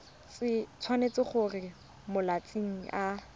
tshwanetse gore mo malatsing a